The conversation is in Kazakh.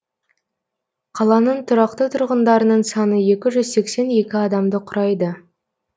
қаланың тұрақты тұрғындарының саны екі жүз сексен екі адамды құрайды